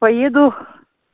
поеду